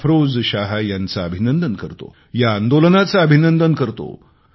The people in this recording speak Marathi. अफरोज शाह यांचे मी अभिनंदन करतो या आंदोलनाचे अभिनंदन करतो